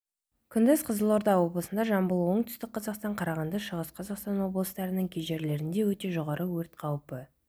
күндіз қызылорда облысында жамбыл оңтүстік қазақстан қарағанды шығыс қазақстан облыстарының кей жерлерінде өте жоғары өрт қауіпі